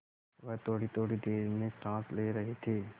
वह थोड़ीथोड़ी देर में साँस ले रहे थे